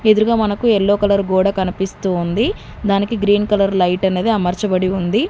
ఎదురుగ మనకి yellow colour గోడ కనిపిస్తూ ఉంది దానికి గ్రీన్ కలర్ లైట్ అనేది అమర్చబడి ఉంది.